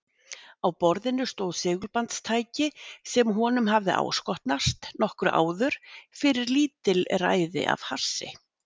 Á borðinu stóð segulbandstæki sem honum hafði áskotnast nokkru áður fyrir lítilræði af hassi.